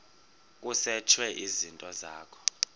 kusetshwe izinto zakho